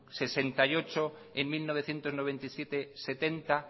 sesenta y ocho en mil novecientos noventa y siete setenta